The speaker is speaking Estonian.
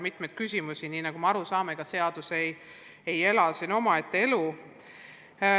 Me ju saame aru, et seadus ei ela siin omaette elu.